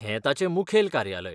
हें तांचें मुखेल कार्यालय.